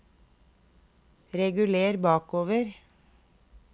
reguler bakover